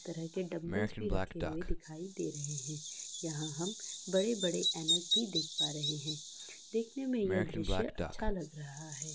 तरह के डंबलस भी रखे हुए दिखाई दे रहें हैं यहां हम बड़े बड़े एनाक भी देख पा रहें हैं देखने में या दृश्य अच्छा लग रहा है।